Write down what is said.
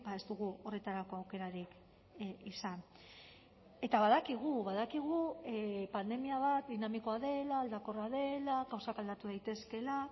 ez dugu horretarako aukerarik izan eta badakigu badakigu pandemia bat dinamikoa dela aldakorra dela gauzak aldatu daitezkeela